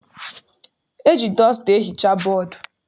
E ji dọsta ehicha bọdu.